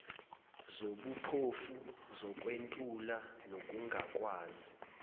zobuphofu zokwentula nokungakwazi